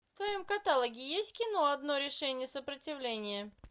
в твоем каталоге есть кино одно решение сопротивление